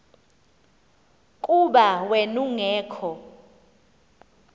kuba wen ungekho